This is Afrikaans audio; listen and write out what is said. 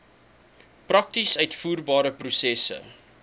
prakties uitvoerbare prosesse